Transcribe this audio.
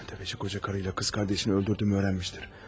Təfəçi qoca qarıyla qız qardaşını öldürdüyümü öyrənmişdir.